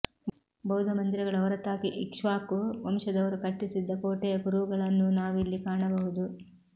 ಬೌದ್ಧ ಮಂದಿರಗಳ ಹೊರತಾಗಿ ಇಕ್ಷ್ವಾಕು ವಂಶದವರು ಕಟ್ಟಿಸಿದ್ದ ಕೋಟೆಯ ಕುರುಹುಗಳನ್ನೂ ನಾವಿಲ್ಲಿ ಕಾಣಬಹುದು